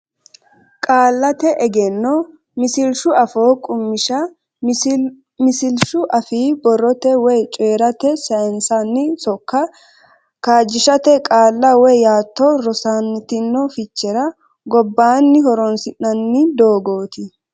Qaallate Egenno Misilshu Afoo Qummishsha Misilshu afii borrote woy coyi’rate sayinsanni sokka kaajjishate qaalla woy yaatto rosantino fichera gobbaanni horonsi’nanni doogooti.